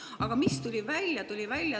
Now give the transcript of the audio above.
Aga mis tuli välja?